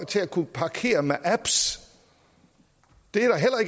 til at kunne parkere med apps det